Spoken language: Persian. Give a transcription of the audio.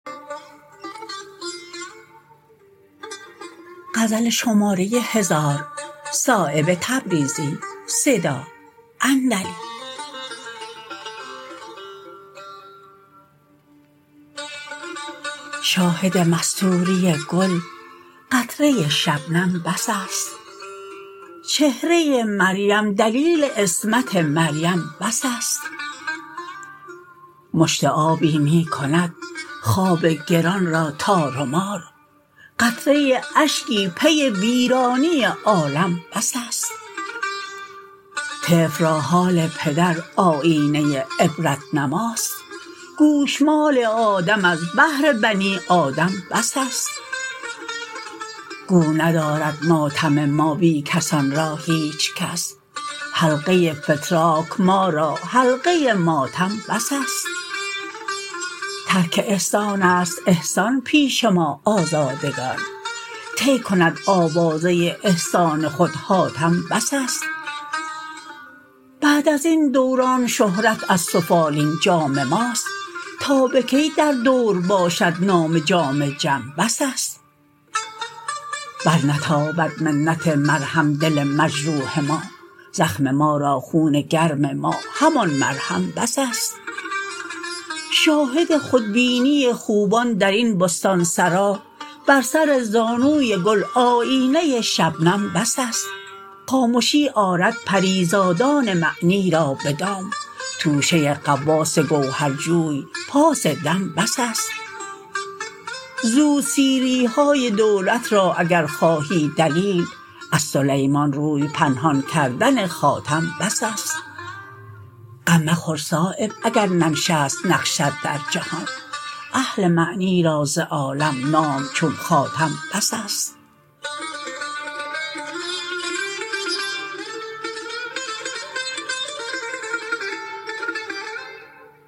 شاهد مستوری گل قطره شبنم بس است چهره مریم دلیل عصمت مریم بس است مشت آبی می کند خواب گران را تار و مار قطره اشکی پی ویرانی عالم بس است طفل را حال پدر آیینه عبرت نماست گوشمال آدم از بهر بنی آدم بس است گو ندارد ماتم ما بی کسان را هیچ کس حلقه فتراک ما را حلقه ماتم بس است ترک احسان است احسان پیش ما آزادگان طی کند آوازه احسان خود حاتم بس است بعد ازین دوران شهرت از سفالین جام ماست تا به کی در دور باشد نام جام جم بس است بر نتابد منت مرهم دل مجروح ما زخم ما را خون گرم ما همان مرهم بس است شاهد خودبینی خوبان درین بستانسرا بر سر زانوی گل آیینه شبنم بس است خامشی آرد پریزادان معنی را به دام توشه غواص گوهرجوی پاس دم بس است زود سیری های دولت را اگر خواهی دلیل از سلیمان روی پنهان کردن خاتم بس است غم مخور صایب اگر ننشست نقشت در جهان اهل معنی را ز عالم نام چون خاتم بس است